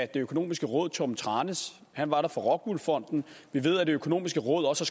det økonomiske råd torben tranæs han var der for rockwool fonden og vi ved at det økonomiske råd også